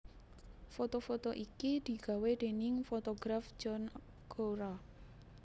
Foto foto iki digawé déning fotograf John Cura